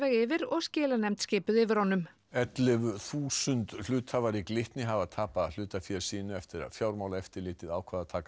yfir og skilanefnd skipuð yfir honum ellefu þúsund hluthafar í Glitni hafa tapað hlutafé sínu eftir að Fjármálaeftirlitið ákvað að taka